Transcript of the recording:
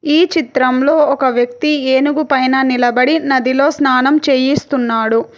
ఈ చిత్రంలో ఒక వ్యక్తి ఏనుగుపైన నిలబడి నదిలో స్నానం చేయిస్తున్నాడు.